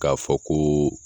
K'a fɔ ko